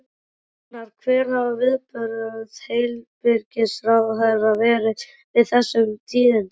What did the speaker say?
Gunnar, hver hafa viðbrögð heilbrigðisráðherra verið við þessum tíðindum?